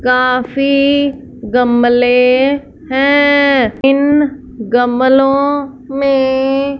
काफी गमले हैं इन गमलो में --